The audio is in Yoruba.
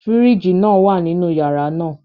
Firiji naa wa ninu yara naa